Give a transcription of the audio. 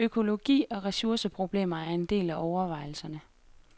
Økologi og ressourceproblemer er en del af overvejelserne.